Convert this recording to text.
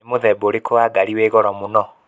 Nĩ muthemba urikũ Wa ngari wi Goro mũno?